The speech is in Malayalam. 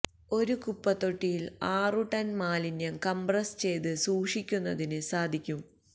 ഒരു കുപ്പത്തൊട്ടിയില് ആറു ടണ് മാലിന്യം കംപ്രസ് ചെയ്ത് സൂക്ഷിക്കുന്നതിന് സാധിക്കും